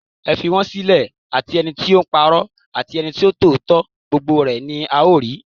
Ẹ fi wọn sílẹ̀, àti ẹnití ó ńpa'rọ́, àti ẹnití ó ń sọ òótọ́, gbogbo rẹ́ ni a ó rí.